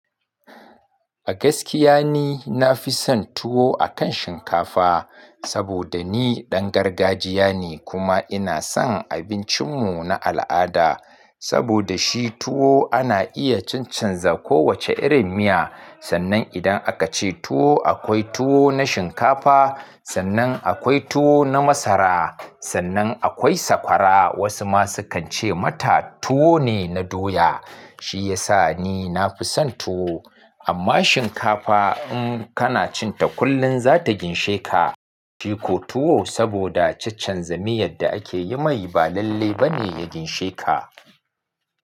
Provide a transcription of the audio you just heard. A gaskiya ni na fi son tuwo akan shinkafa saboda ni ɗan gargajiya ne, kuma ina son abincin mu na al'ada. Saboda shi tuwo ana iya chaccan za kowace irin miya, sannan idan aka ce tuwo akwai tuwo na shinkafa, sannan akwai tuwo na masara, sannan akwai sakwara. Wasu ma sukan ce mata tuwo ne na doya. Shi ya sa ni na fi son tuwo, amma shinkafa in kana cin ta kullum za ta ginshe ka. Ciko tuwo saboda caccanza miyar da ake yi mai ba lallainba ne ya ginshe ka.